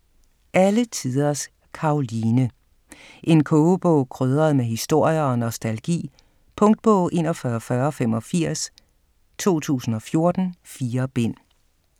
Alle tiders Karoline: en kogebog krydret med historier og nostalgi Punktbog 414085 2014. 4 bind.